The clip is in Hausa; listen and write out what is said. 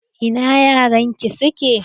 Ina 'ya'yan ki suke?